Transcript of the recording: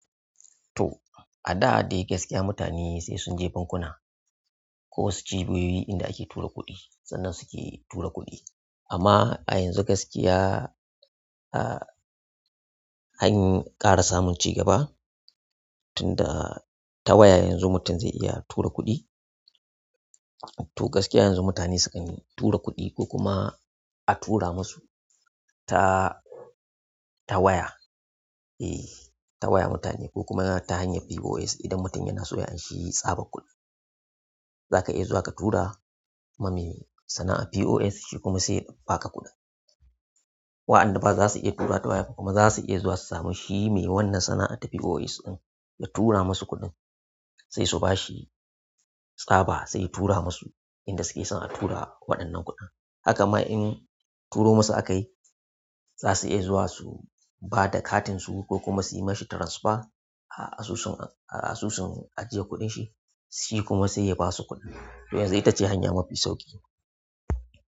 To, a da dai gaskiya mutane sai sun je bankuna ko su je doyo inda ake tura kuɗi sannan suke tura kuɗi. Amma a yanzu gaskiya, an ƙara samun ci gaba tunda ta waya yanzu mutum zai iya tura kuɗi. To gaskiya yanzu mutane sukan tura kuɗi ko kuma a tura musu ta, ta waya. E, ta waya mutane ko kuma ta hanyar POS idan mutum yana so ya anshi tsabar kuɗi. Zaka iya zuwa ka tura ma me sana'ar POS shi kuma sai ya ba ka kuɗin. Wa'anda zasu iya turawa ta waya kuma zasu iya zuwa su sameshi, to shi mai wannan sana'a ta POS din ya tura musu kuɗin. Sai su bashi tsaba sai yatura musu inda suke son a tura waɗannan kuɗin. Hakama in turo musu aka yi, za su iya zuwa su ba da katinsu ko kuma su yi mashi transfer a asusun, a asusun ajiyar kuɗin shi, shi kuma sai ya basu kuɗin. To yanzu ita ce hanya mafi sauƙi.